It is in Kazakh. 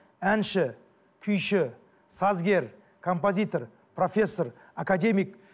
әнші күйші сазгер композитор профессор академик